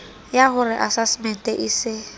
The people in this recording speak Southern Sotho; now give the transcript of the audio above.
yah ore asasemente e se